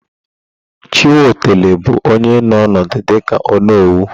Chiwetalụ bụ onye nọ ọnọdụ dịka ónówù.